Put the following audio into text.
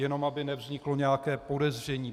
Jenom aby nevzniklo nějaké podezření.